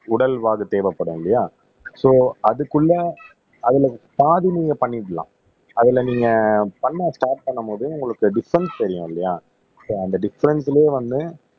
உடல்வாகு தேவைப்படும் இல்லையா சோ அதுக்குள்ள அதுல பாதி நீங்க பண்ணிடலாம் அதுல நீங்க பண்ண ஸ்டார்ட் பண்ணும்போது உங்களுக்கு டிஃபரென்ஸ் தெரியும் இல்லையா சோ அந்த டிஃபரென்ட்லயே வந்து